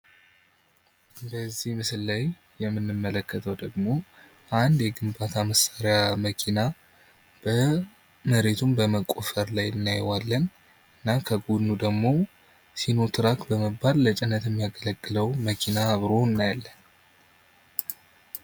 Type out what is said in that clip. በዚህ ምስል ላይ የምንመለከተው ደግሞ አንደ የግንባታ መሳሪያ መኪና መሬቱን በመቆፈር ላይ እናየዋለን እና ከጎኑ ደግሞ ሲኖትራክ በመባል ለጭነት የሚያገለግለው መኪና አብሮ እናያለን።